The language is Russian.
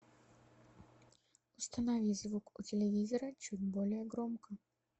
установи звук у телевизора чуть более громко